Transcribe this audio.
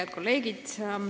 Head kolleegid!